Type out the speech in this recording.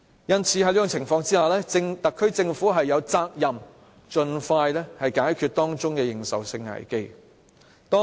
而在這種情況下，特區政府有責任盡快解決這認受性危機。